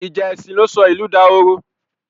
Ìjà èsìn ló sọ ìlú dahoro.